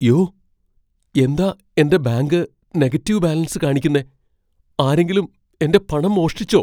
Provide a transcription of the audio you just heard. യ്യോ! എന്താ എന്റെ ബാങ്ക് നെഗറ്റീവ് ബാലൻസ് കാണിക്കുന്നെ? ആരെങ്കിലും എന്റെ പണം മോഷ്ടിച്ചോ?